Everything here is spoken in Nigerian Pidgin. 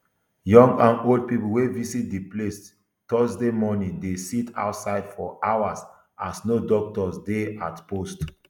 young and old pipo wey visit di place thursday morning dey sit outside for hours as no doctor dey at post